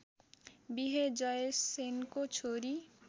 बिहे जयसेनको छोरी